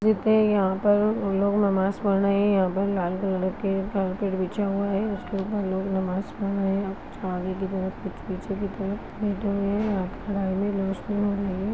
-- यहाँ पर लोग नमाज़ पढ़ रहे है यह पे लाल कलर की कार्पेट बिछे हुए है उसके उपर लोग नमाज़ पढ़ रहे है कुछ आगे की तरफ कुछ पीछे की तरफ रोसनी हो रही है।